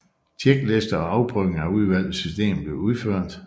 Checklister og afprøvning af udvalgte systemer blev udført